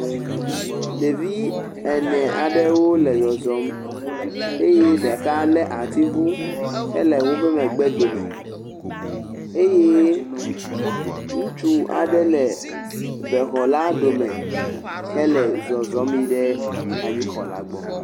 Ɖevi ene aɖewo le zɔzɔm eye ɖeka le atiŋu hele woƒe megbe dome eye ŋutsu aɖe le bexɔ la ɖome hele zɔzɔm yina ɖe anyixɔla gbɔ.